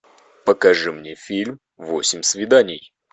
покажи мне фильм восемь свиданий